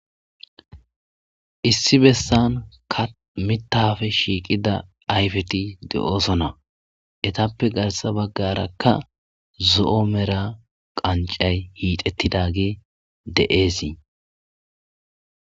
issi bessankka mittappe shiiqida ayfeti de'ooson ettappe garssa baggarakka zo'o mella qancay hiitettidagey de'eesi